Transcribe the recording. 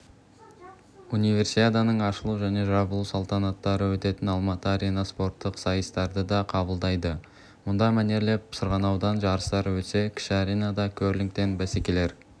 универсиаданың ашылу және жабылу салтанаттары өтетін алматы арена спорттық сайыстарды да қабылдайды мұнда мәнерлеп сырғанаудан жарыстар өтсе кіші аренада керлингтен бәсекелер